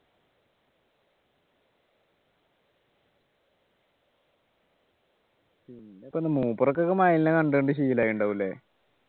പിന്നെപ്പോ എന്താ മൂപ്പർക്കൊക്കെ മയിലിനെ കണ്ടു കണ്ടു ശീലം ആയിട്ട് ണ്ടാവും അല്ലെ